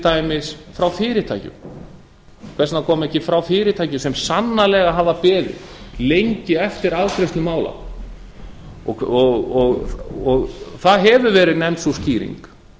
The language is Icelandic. dæmis frá fyrirtækjum hvers vegna koma ekki frá fyrirtækjum sem sannarlega hafa beðið lengi eftir afgreiðslu mála það hefur verið nefnd sú skýring